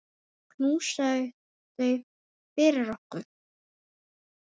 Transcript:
Knúsaðu þau fyrir okkur.